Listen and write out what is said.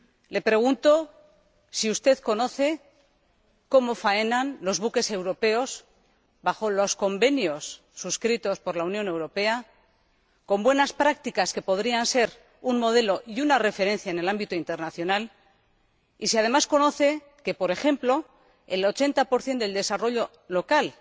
Le pregunto si usted sabe cómo faenan los buques europeos en el marco de los convenios suscritos por la Unión Europea, con buenas prácticas que podrían ser un modelo y una referencia en el ámbito internacional y si, además, sabe que, por ejemplo, el 80 del desarrollo local